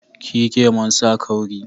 Ki yi kemon sa kauri